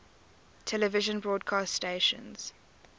television broadcast stations